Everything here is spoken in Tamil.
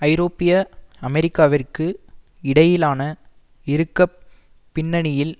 ஐரோப்பிய அமெரிக்காவிற்கு இடையிலான இறுக்கப் பின்னணியில்